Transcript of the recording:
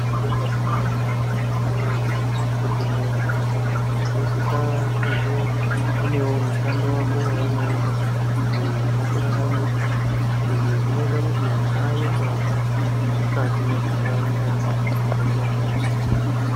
Zvakadini kunaka akiti woyee, kuti muntu unosisa kunge unewo mushando wako waunoita, uyo unokuraramisa? Izvi zvinoita kuti usaye mbavha mukati mwenharaunda dzaunogara.